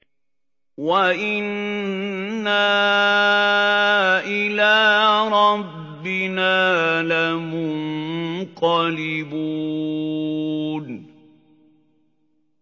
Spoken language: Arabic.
وَإِنَّا إِلَىٰ رَبِّنَا لَمُنقَلِبُونَ